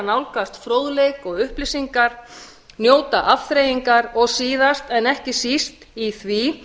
nálgast fróðleik og upplýsingar njóta afþreyingar og síðast en ekki síst í því